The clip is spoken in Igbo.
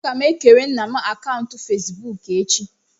Agam ekere nna m akaụntụ Fezbuuku echi.